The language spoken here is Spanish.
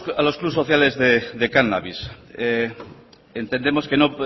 a los clubs sociales de cannabis entendemos que no